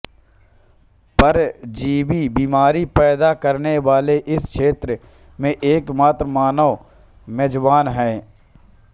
परजीवी बीमारी पैदा करने वाले इस क्षेत्र में एकमात्र मानव मेजबान है